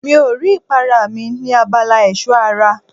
Mi ò rí ìpara mi ní abala ẹ̀ṣọ́ ara.